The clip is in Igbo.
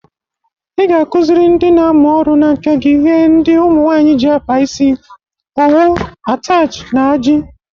Ị ga-akụziri ndị na-amụ ọrụ n'aka gi ihe ndị ụmụnwanyị ji akpa isi: owu, atachi, na aji.